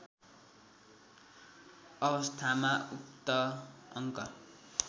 अवस्थामा उक्त अङ्क